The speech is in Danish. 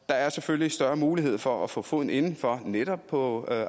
der er selvfølgelig større mulighed for at få foden inden for netop på